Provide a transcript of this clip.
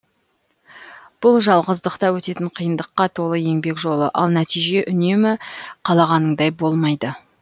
бұл жалғыздықта өтетін қиындыққа толы еңбек жолы ал нәтиже үнемі қалағаныңдай болмайды